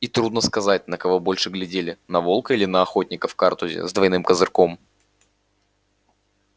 и трудно сказать на кого больше глядели на волка или на охотника в картузе с двойным козырьком